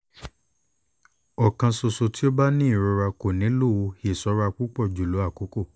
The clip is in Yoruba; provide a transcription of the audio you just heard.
o kan ṣoṣo ti o ba ni irora ko nilo iṣọra pupọ julọ akoko